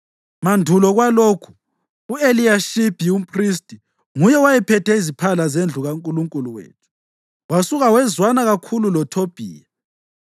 Mandulo kwalokhu, u-Eliyashibi umphristi nguye owayephethe iziphala zendlu kaNkulunkulu wethu. Wasuka wezwana kakhulu loThobhiya,